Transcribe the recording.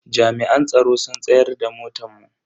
Jami'an tsaro sun tsayar da motan mu.